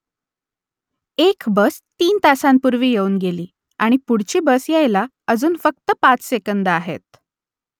एक बस तीन तासांपूर्वी येऊन गेली आणि पुढची बस यायला अजून फक्त पाच सेकंदं आहेत